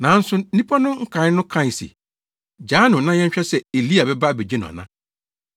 Nanso nnipa no nkae no kae se, “Gyaa no na yɛnhwɛ sɛ Elia bɛba abegye no ana.”